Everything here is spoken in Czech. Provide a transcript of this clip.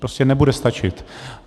Prostě nebude stačit.